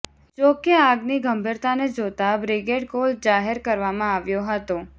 જો કે આગની ગંભીરતાને જોતા બ્રિગેડ કોલ જાહેર કરવામાં આવ્યો હતો